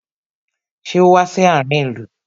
Ṣé o wá sí àárin ìlú?